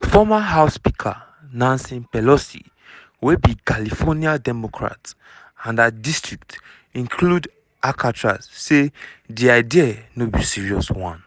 former house speaker nancy pelosi wey be california democrat and her district include alcatraz say di idea "no be serious one."